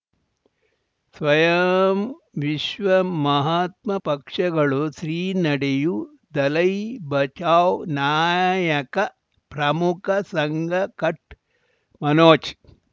ಸ್ವಯಂ ವಿಶ್ವ ಮಹಾತ್ಮ ಪಕ್ಷಗಳು ಶ್ರೀ ನಡೆಯೂ ದಲೈ ಬಚೌ ನಾಯಕ ಪ್ರಮುಖ ಸಂಘ ಕಚ್ ಮನೋಜ್